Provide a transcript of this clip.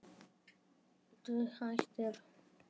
Dug hættir.